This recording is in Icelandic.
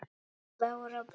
Bára blá!